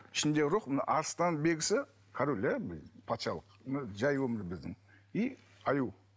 ішіндегі рух мына арыстанның белгісі король иә патшалық жай өмір біздің и аю